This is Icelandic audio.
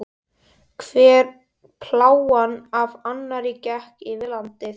Hver plágan af annarri gekk yfir landið.